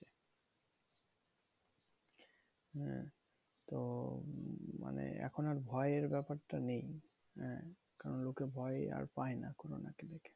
হ্যাঁ তো মানে এখন আর ভয়ের ব্যাপারটা নেই। আহ কারণ লোকে আর ভয় পায় না corona কে।